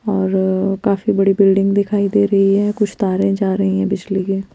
हम्म काफी बड़ी बिल्डिंग दिखाई दे रही है कुछ तारे जा रही है कुछ --